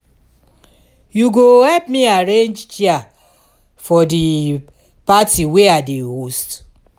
you go help me arrange chair for di party wey i dey host?